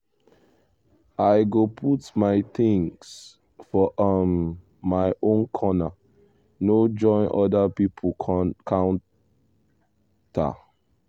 i go put my things for um my own corner no join other people counter.